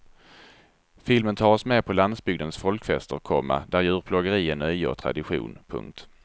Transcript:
Filmen tar oss med på landsbygdens folkfester, komma där djurplågeri är nöje och tradition. punkt